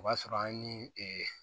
O b'a sɔrɔ an ye